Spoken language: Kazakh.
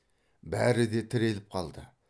бәрі де тіреліп қалды